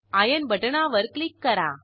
iron बटणावर click करा